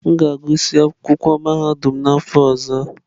M ga-agụsị akwụkwọ mahadum n'afọ ọzọ.